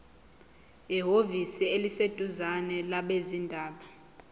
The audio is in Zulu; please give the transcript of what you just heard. ehhovisi eliseduzane labezindaba